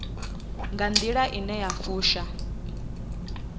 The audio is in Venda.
nga nḓila ine ya fusha